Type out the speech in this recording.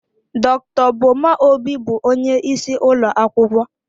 Dr. Boma Obi bụ onye isi ụlọ akwụkwọ.